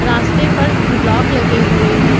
रास्ते पर ब्लॉक लगे हुए हैं।